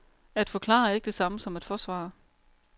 At forklare er ikke det samme som at forsvare.